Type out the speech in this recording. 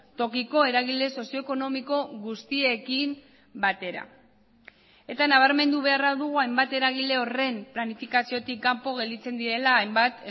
tokiko eragile sozio ekonomiko guztiekin batera eta nabarmendu beharra dugu hainbat eragile horren planifikaziotik kanpo gelditzen direla hainbat